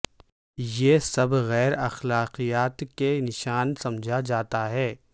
یہ سب غیر اخلاقیات کے نشان سمجھا جاتا ہے